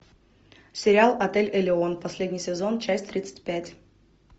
сериал отель элеон последний сезон часть тридцать пять